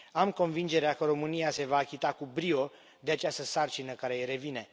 Am convingerea că România se va achita cu brio de această sarcină care îi revine.